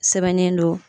Sɛbɛnnen don